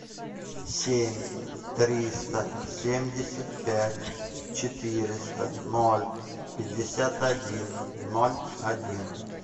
семь триста семьдесят пять четыреста ноль пятьдесят один ноль один